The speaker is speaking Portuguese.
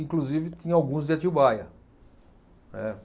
Inclusive, tinha alguns de Atibaia, né